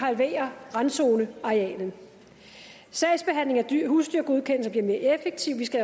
halverer randzonearealet sagsbehandlingen af husdyrgodkendelser bliver mere effektiv vi skal